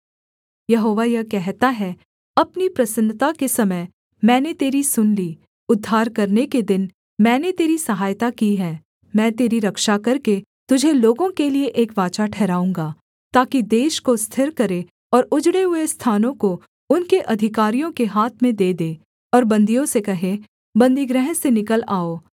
यहोवा यह कहता है अपनी प्रसन्नता के समय मैंने तेरी सुन ली उद्धार करने के दिन मैंने तेरी सहायता की है मैं तेरी रक्षा करके तुझे लोगों के लिये एक वाचा ठहराऊँगा ताकि देश को स्थिर करे और उजड़े हुए स्थानों को उनके अधिकारियों के हाथ में दे दे और बन्दियों से कहे बन्दीगृह से निकल आओ